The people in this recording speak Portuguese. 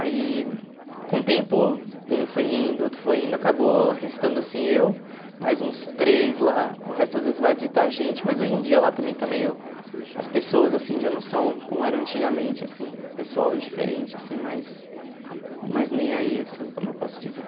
Aí, com o tempo, um foi indo, outro foi indo, acabou restando, assim, eu, mais uns três lá, o resto às vezes vai visitar a gente, mas hoje em dia lá também está meio, as pessoas, assim, já não são como eram antigamente, assim, o pessoal é diferente, assim, mais mais nem aí, assim, como eu posso dizer.